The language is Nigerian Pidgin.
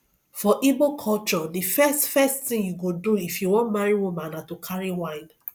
for igbo culture the first first thing you go do if you wan marry woman na to carry wine